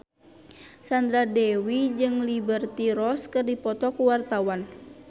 Sandra Dewi jeung Liberty Ross keur dipoto ku wartawan